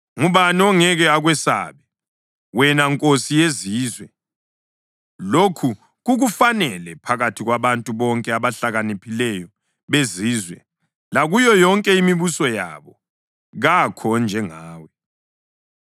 Ngubani ongeke akwesabe, wena Nkosi yezizwe? Lokhu kukufanele. Phakathi kwabantu bonke abahlakaniphileyo bezizwe lakuyo yonke imibuso yabo, kakho onjengawe.